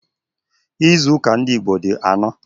Ịzụuka ndị Igbo di anọ